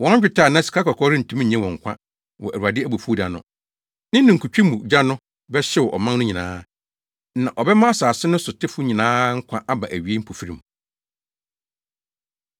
Wɔn dwetɛ anaa sikakɔkɔɔ rentumi nnye wɔn nkwa wɔ Awurade abufuw da no.” Ne ninkutwe mu gya no bɛhyew ɔman no nyinaa, na ɔbɛma asase no so tefo nyinaa nkwa aba awiei mpofirim.